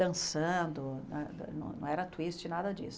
Dançando, né não era twist, nada disso.